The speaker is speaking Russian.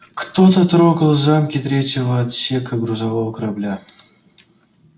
кто-то трогал замки третьего отсека грузового корабля